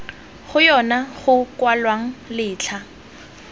go yona go kwalwang letlha